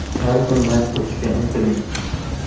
Har kuni mashq qilishga intiling.